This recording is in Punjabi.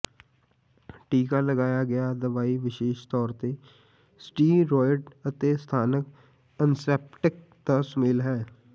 ਟੀਕਾ ਲਗਾਇਆ ਗਿਆ ਦਵਾਈ ਵਿਸ਼ੇਸ਼ ਤੌਰ ਤੇ ਸਟੀਰੌਇਡ ਅਤੇ ਸਥਾਨਕ ਐਨੇਸੈਪਟਿਕ ਦਾ ਸੁਮੇਲ ਹੈ